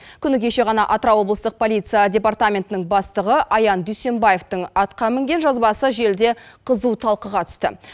күні кеше ғана атырау облыстық полиция департаментінің бастығы аян дүйсембаевтың атқа мінген жазбасы желіде қызу талқыға түсті